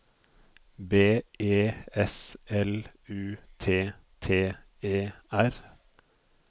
B E S L U T T E R